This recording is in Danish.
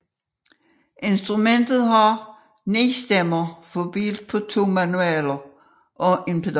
Instrumentet har 9 stemmer fordelt på to manualer og pedal